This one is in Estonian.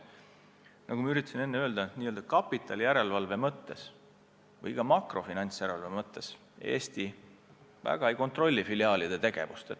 Nagu ma enne selgitasin, n-ö kapitali järelevalve mõttes või ka makrofinantsjärelevalve mõttes Eesti väga ei kontrolli filiaalide tegevust.